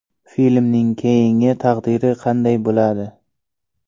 Filmning keyingi taqdiri qanday bo‘ladi?